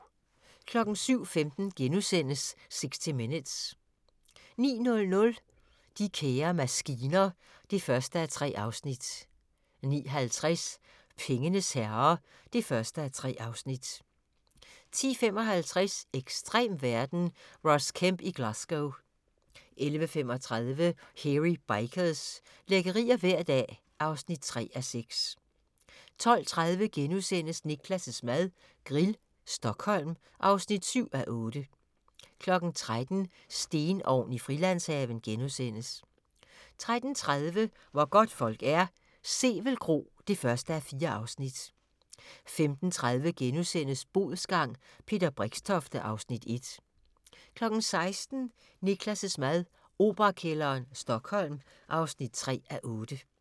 07:15: 60 Minutes * 09:00: De kære maskiner (1:3) 09:50: Pengenes herrer (1:3) 10:55: Ekstrem verden - Ross Kemp i Glasgow 11:35: Hairy Bikers – lækkerier hver dag (3:6) 12:30: Niklas' mad - Grill, Stockholm (7:8)* 13:00: Stenovn i Frilandshaven * 13:30: Hvor godtfolk er - Sevel Kro (1:4) 15:30: Bodsgang – Peter Brixtofte (Afs. 1)* 16:00: Niklas' mad - Operakælderen, Stockholm (3:8)